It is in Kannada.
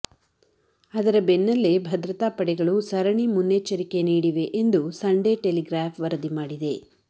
ಅದರ ಬೆನ್ನಲ್ಲೇ ಭದ್ರತಾ ಪಡೆಗಳು ಸರಣಿ ಮುನ್ನೆಚ್ಚರಿಕೆ ನೀಡಿವೆ ಎಂದು ಎಂದು ಸಂಡೇ ಟೆಲಿಗ್ರಾಫ್ ವರದಿ ಮಾಡಿದೆ